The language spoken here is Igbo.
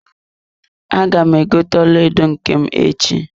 Aga m egote ọlaedo nke m echi.